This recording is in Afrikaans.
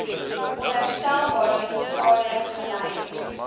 onherstelbare skade gely